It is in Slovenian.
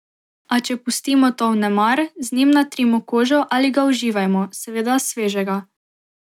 A če pustimo to vnemar, z njim natrimo kožo ali ga uživajmo, seveda svežega.